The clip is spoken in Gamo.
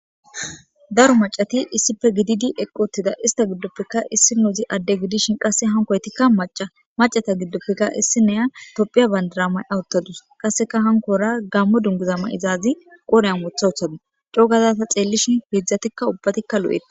daro macati issipe gididi eqqotida ista giddoppeka issi nuuzi adde gidishin qasse hankoytikka macata giddoppeka issi neya topphiya bandiramay awuttadus qasseka hankora gammo dunguzama izaazi qoreyan mothawuthadu cogazasa xeellishin hiedzdzatikka ubbatikka lo7etta